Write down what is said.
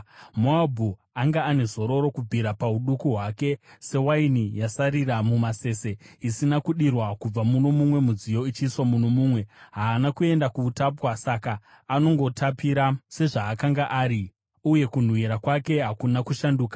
“Moabhu anga ane zororo kubvira pauduku hwake, sewaini yasarira mumasese, isina kudirwa kubva muno mumwe mudziyo ichiiswa muno mumwe, haana kuenda kuutapwa. Saka anongotapira sezvaakanga ari, uye kunhuhwira kwake hakuna kushanduka.